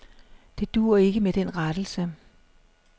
Det duer ikke med den rettelse.